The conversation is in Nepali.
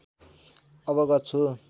अवगत छु